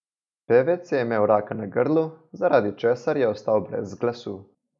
Pevec je imel raka na grlu, zaradi česar je ostal brez glasu.